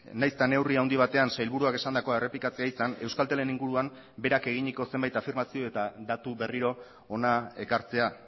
nahiz eta neurri handi batean sailburuak esandakoa errepikatzea izan euskaltelen inguruan berak eginiko zenbait afirmazio eta datu berriro hona ekartzea